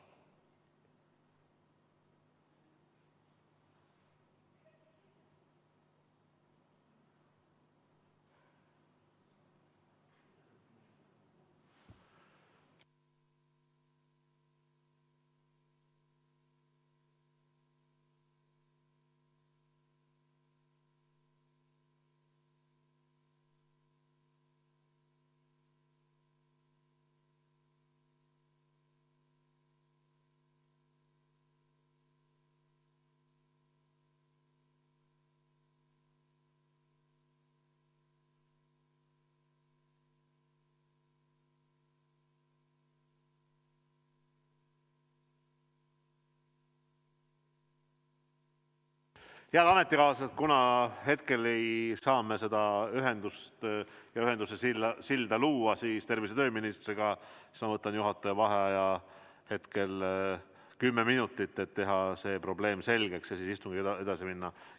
Head ametikaaslased, kuna hetkel ei saa me luua ühendust ja ühenduse silda tervise‑ ja tööministriga, siis ma võtan juhataja vaheaja 10 minutit, et teha see probleem selgeks ja istungiga edasi minna.